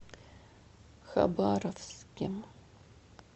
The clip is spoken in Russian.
хабаровске